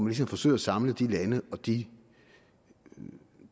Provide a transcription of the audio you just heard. ligesom forsøger at samle de lande og de